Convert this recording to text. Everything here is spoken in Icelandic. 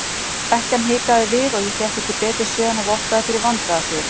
Ekkjan hikaði við og ég fékk ekki betur séð en vottaði fyrir vandræðasvip.